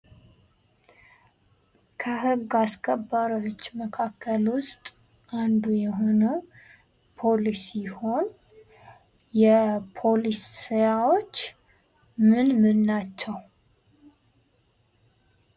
ከህግ አስከባሪዎች መካከል ውስጥ አንዱ የሆነው ፖሊስ ሲሆን የፖሊስ ስራዎች ምን ምን ናቸው?